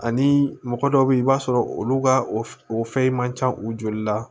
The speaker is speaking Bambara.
Ani mɔgɔ dɔw be yen i b'a sɔrɔ olu ka o fɛn man ca u joli la